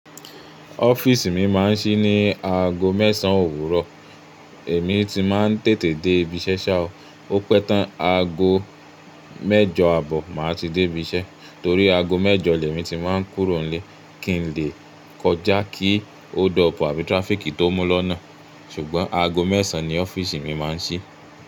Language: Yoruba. Ọ́fíìsì mi máa ń ṣí ní aago mẹ́sàn òwúrọ̀, èmi ti máa ń tètè dé ibi iṣẹ́ sáà ó, ó pẹ́ tán aago mẹ́jọ àbọ̀ máa ti dé ibi iṣẹ́ torí aago mẹ́jọ lèmi ti máa ń kúrò nílé kí n lè kọjá kí oo dopuu àbí tirafiki tó mú lọ́nà, ṣùgbọ́n aago mẹ́sàn ni ọ́fíìsì mi máa ń ṣí.